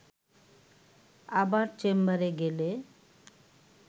আবার চেম্বারে গেলে